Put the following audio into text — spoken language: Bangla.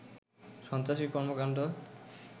সন্ত্রাসী কর্মকাণ্ড